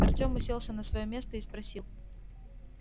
артём уселся на своё место и спросил